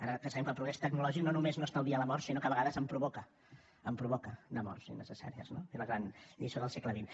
ara ja sabem que el progrés tecnològic no només no estalvia la mort sinó que a vegades en provoca en provoca de morts innecessàries no és la gran lliçó del segle xx